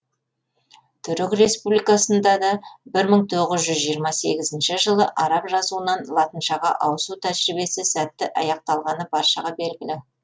түрік республикасында да бір мың тоғыз жүз жиырма сегізінші жылы араб жазуынан латыншаға ауысу тәжірибесі сәтті аяқталғаны баршаға белгілі